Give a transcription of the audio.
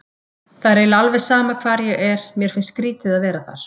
Það er eiginlega alveg sama hvar ég er, mér finnst skrýtið að vera þar.